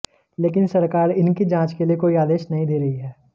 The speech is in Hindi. लेकिन सरकार इनकी जांच के लिए कोई आदेश नहीं दे रही है